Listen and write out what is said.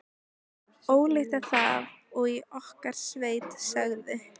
Ólíkt er það og í okkar sveit segðu.